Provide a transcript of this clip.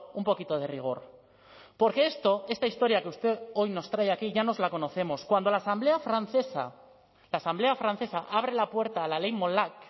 un poquito de rigor porque esto esta historia que usted hoy nos trae aquí ya nos la conocemos cuando la asamblea francesa la asamblea francesa abre la puerta a la ley molac